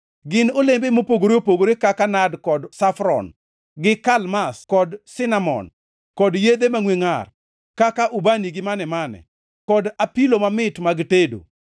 Gin olembe mopogore opogore kaka nad kod safron, gi kalmas kod sinamon, kod yedhe mangʼwe ngʼar, kaka ubani gi mane-mane, kod apilo mamit mag tedo.